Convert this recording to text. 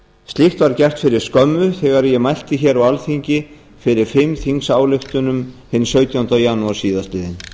slíkt var gert fyrir skömmu þegar ég mælti hér á alþingi fyrir fimm þingsályktunum hinn sautjánda janúar síðastliðinn